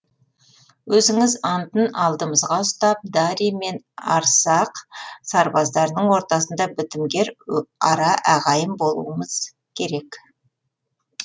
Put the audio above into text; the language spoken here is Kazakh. өзінің антын алдымызға ұстап дарий мен арсақ сарбаздарының ортасында бітімгер ара ағайын болуымыз керек